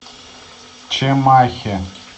чимахи